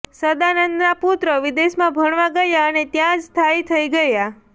સદાનંદના પુત્રો વિદેશમાં ભણવા ગયા અને ત્યાંજ સ્થાઈ થઈ ગયા